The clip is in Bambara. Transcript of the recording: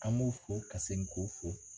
An b'o fo ka ka segin k'o fo.